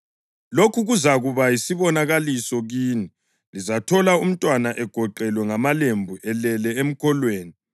Lokhu kuzakuba yisibonakaliso kini: Lizathola umntwana egoqelwe ngamalembu elele emkolweni.”